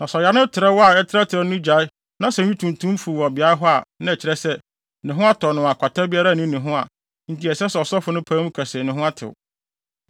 Na sɛ ɔyare no trɛw a ɛtrɛtrɛw no gyae na sɛ nwi tuntum fuw wɔ beae hɔ a, na ɛkyerɛ sɛ, ne ho atɔ no a kwata biara nni ne ho enti ɛsɛ sɛ ɔsɔfo no pae mu ka se ne ho atew.